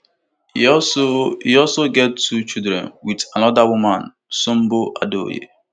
e also e also get two children wit anoda woman sumbo adeoye